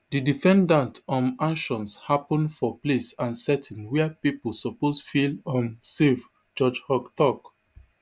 di defendant um actions happun for place and setting wia pipu suppose feel um safe judge haug tok